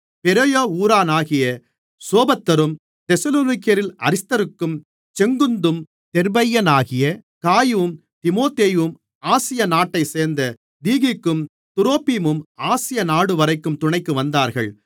Berea ஊரானாகிய சோபத்தரும் தெசலோனிக்கேயரில் அரிஸ்தர்க்கும் செக்குந்தும் தெர்பையானாகிய காயுவும் தீமோத்தேயும் ஆசியா நாட்டைச்சேர்ந்த தீகிக்கும் துரோப்பீமும் ஆசியா நாடுவரைக்கும் துணைக்கு வந்தார்கள்